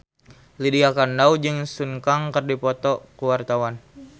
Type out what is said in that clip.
Lydia Kandou jeung Sun Kang keur dipoto ku wartawan